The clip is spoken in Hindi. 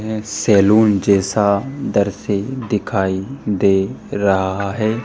ये सैलून जैसा दर्श दिखाई दे रहा है।